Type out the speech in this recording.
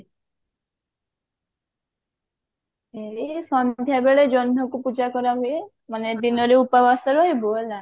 ଏଇ ସନ୍ଧ୍ଯା ବେଳେ ଜହ୍ନକୁ ପୂଜା କରାହୁଏ ମାନେ ଦିନରେ ଉପବାସ ରହିବୁ ହେଲା